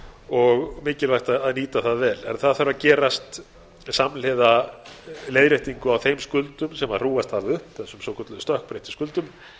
og mikilvægt að nýta það vel en það þarf að gerast samhliða leiðréttingu á þeim skuldum sem hrúgast hafa upp þessum svo kölluðu